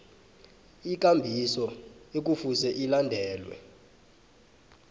ikambiso ekufuze ilandelwe